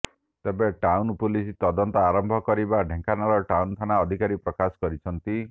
ତେବେ town police ତଦନ୍ତ ଆରମ୍ଭ କରିଥିବା ଢେଙ୍କାନାଳ ଟାଉନ ଥାନା ଅଧିକାରୀ ପ୍ରକାଶ କରିଛନ୍ତି